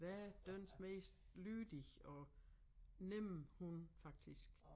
Verdens mest lydige og nemme hund faktisk